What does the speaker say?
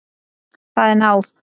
Það er náð.